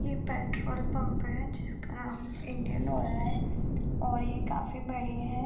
ये petrol pump है जिसका इंडियन ऑइल है और ये काफी बड़ी है ।